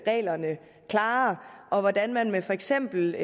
reglerne klarere og hvordan man med for eksempel